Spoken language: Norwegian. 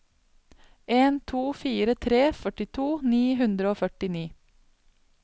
en to fire tre førtito ni hundre og førtini